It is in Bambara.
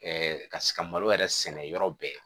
ka se ka malo yɛrɛ sɛnɛ yɔrɔ bɛɛ